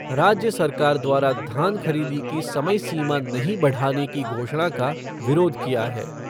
राज्य सरकार द्वारा धान खरीदी की समय सीमा नहीं बढ़ाने की घोषणा का विरोध किया है।